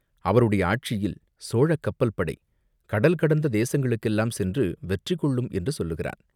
அவருடைய ஆட்சியில் சோழக் கப்பல் படை கடல் கடந்த தேசங்களுக்கெல்லாம் சென்று வெற்றி கொள்ளும் என்று சொல்லுகிறான்.